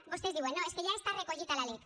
vostès diuen no és que ja està recollit a la lec